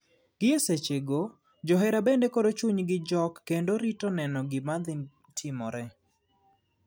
Gi e seche go johera bende koro chuny gi jok kendo rito neno gima dhi timore .